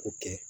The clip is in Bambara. O kɛ